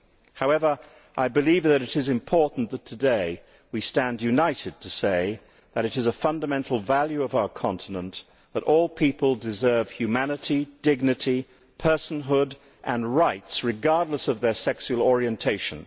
However, I believe that it is important that we stand united today to say that it is a fundamental value of our continent that all people deserve humanity, dignity, personhood and rights, regardless of their sexual orientation.